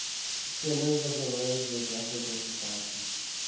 fellows of the royal geographical society